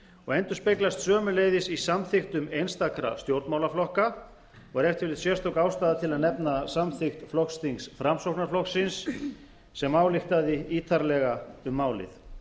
og endurspeglast sömuleiðis í samþykktum einstakra stjórnmálaflokka og er ef til vill sérstök ástæða til að nefna samþykkt flokksþings framsóknarflokksins sem ályktaði ítarlega um málið